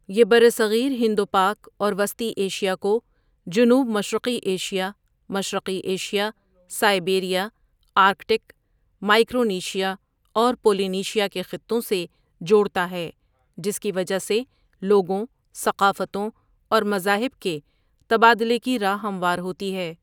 یہ برصغیر ہند و پاک اور وسطی ایشیا کو جنوب مشرقی ایشیا، مشرقی ایشیا، سائبیریا، آرکٹک، مائیکرونیشیا اور پولینیشیا کے خطوں سے جوڑتا ہے جس کی وجہ سے لوگوں، ثقافتوں اور مذاہب کے تبادلے کی راہ ہموار ہوتی ہے۔